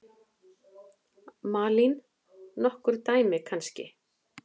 Malín: Nokkur dæmi kannski?